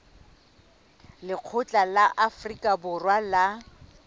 lekgotla la afrika borwa la